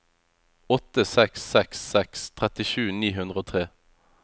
åtte seks seks seks trettisju ni hundre og tre